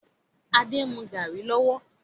Adé ń mú garri lọ́wọ́